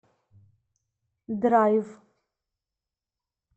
драйв